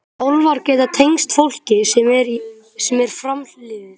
Álfar geta tengst fólki sem er framliðið.